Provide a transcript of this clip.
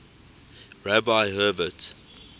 rabbi herbert